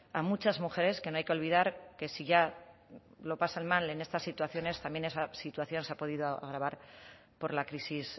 a muchas mujeres que no hay que olvidar que si ya lo pasan mal en estas situaciones también esa situación se ha podido agravar por la crisis